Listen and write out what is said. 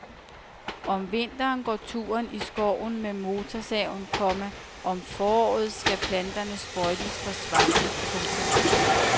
Om vinteren går turen i skoven med motorsaven, komma og om foråret skal planterne sprøjtes for svampe. punktum